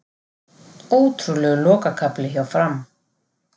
Ótrúlegur lokakafli hjá Fram